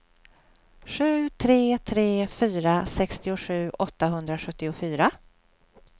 sju tre tre fyra sextiosju åttahundrasjuttiofyra